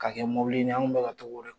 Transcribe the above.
Ka kɛ mobilinin ye anw kun be ka to k'o de